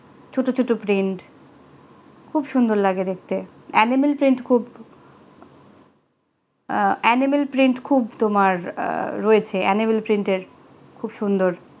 ছোট্ট ছোট্ট print খুব সুন্দর লাগে দেখতে animal print খূব animal print তোমার রয়েছে animal print এর খুব সুন্দর